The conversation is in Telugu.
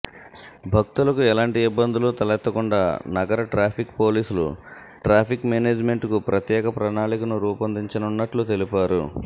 భక్తులకు ఎలాంటి ఇబ్బందులు తలెత్తకుండా నగర ట్రాఫిక్ పోలీసులు ట్రాఫిక్ మేనేజ్మెంట్కు ప్రత్యేక ప్రణాళికను రూపొందించనున్నట్లు తెలిపారు